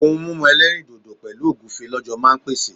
ohun mímu elerindodo pẹlu ogunfe lọ jọ ma n pèsè